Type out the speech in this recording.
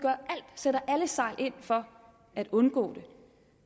sætter alle sejl ind for at undgå det